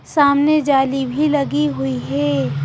सामने जाली भी लगी हुई है.